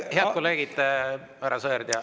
Head kolleegid, härra Sõerd ja …